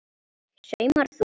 Saumar þú?